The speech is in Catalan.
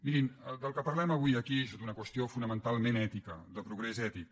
mirin del que parlem avui aquí és de tota una qüestió fonamentalment ètica de progrés ètic